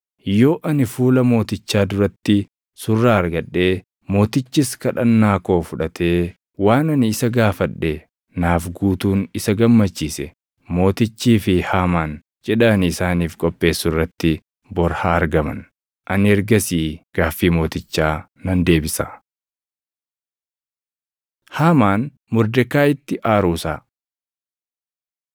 Yoo ani fuula mootichaa duratti surraa argadhee mootichis kadhannaa koo fudhatee waan ani isa gaafadhe naaf guutuun isa gammachiise, mootichii fi Haamaan cidha ani isaaniif qopheessu irratti bor haa argaman. Ani ergasii gaaffii mootichaa nan deebisa.” Haamaan Mordekaayiitti Aaruu Isaa